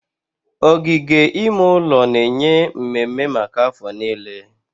Ogige ime ụlọ na-enye mmemme maka afọ niile.